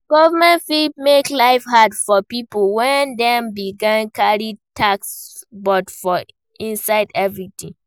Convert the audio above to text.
Government fit make life hard for pipo when dem begin carry tax put for inside everything